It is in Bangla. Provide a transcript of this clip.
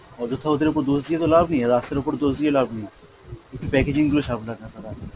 অযথা ওদের ওপর দোষ দিয়ে তো লাভ নেই, রাস্তার ওপর দোষ দিয়ে লাভ নেই, একটু packaging গুলো সামলান আপনারা।